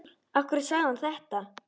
Af hverju sagði hann þetta?